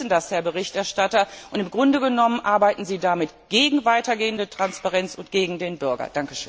Sie wissen das, Herr Berichterstatter, und im Grunde genommen arbeiten Sie damit gegen weitergehende Transparenz und gegen den Bürger.